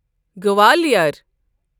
Gwalior